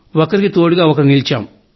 ఒకరికి ఒకరు తోడుగా నిలిచాం